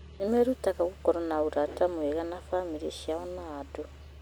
Nĩ merutaga gũkorwo na ũrata mwega na bamĩrĩ ciao na andũ.